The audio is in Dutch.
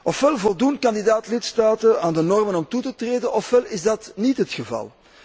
Òfwel voldoen kandidaat lidstaten aan de normen om toe te treden, òfwel is dat niet het geval.